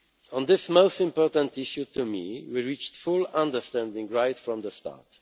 On this most important issue to me, we reached full understanding right from the start.